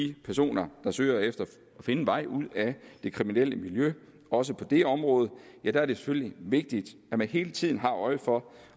de personer der søger at finde en vej ud af det kriminelle miljø også på det område er det selvfølgelig vigtigt at man hele tiden har øje for